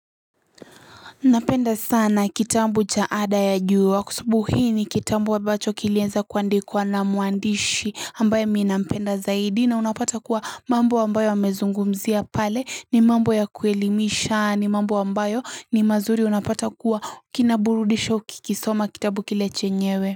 Napenda sana kitambu cha ada ya jua kwa sababu hi ni kitambu ambacho kilieza kuandikwa na muandishi ambayo mi nampenda zaidi na unapata kuwa mambo ambayo amezungumzia pale ni mambo ya kuelimisha ni mambo ambayo ni mazuri unapata kuwa kinaburudisha ukikisoma kitabu kile chenyewe.